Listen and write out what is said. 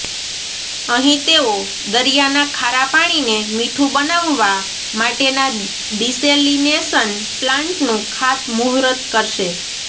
અહીં તેઓ દરિયાના ખારાને મીઠું બનાવવા માટેના ડિસેલિનેશન પ્લાન્ટનું ખાતમુહુર્ત કરશે